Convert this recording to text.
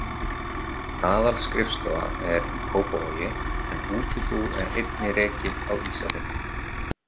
Aðalskrifstofa er í Kópavogi en útibú er einnig rekið á Ísafirði.